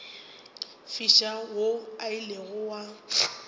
fiša wo o ilego wa